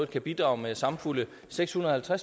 kan bidrage med samfulde seks hundrede og